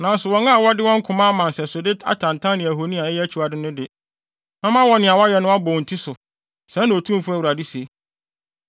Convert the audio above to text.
Nanso wɔn a wɔde wɔn koma ama nsɛsode atantan ne ahoni a ɛyɛ akyiwade no de, mɛma nea wɔayɛ no abɔ wɔn ti so, sɛɛ na Otumfo Awurade se.”